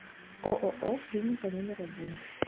ооо клиника номер один